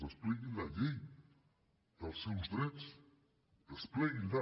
despleguin la llei dels seus drets despleguin la